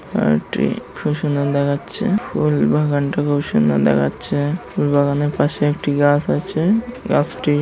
পার্কটি খুব সুন্দর দেখাচ্ছে ফুল বাগানটা খুব সুন্দর দেখাচ্ছে ফুল বাগানের পাশে একটি গাছ আছে গাছটি--